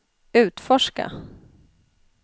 utforska